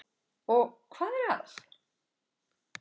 Og hvað er að?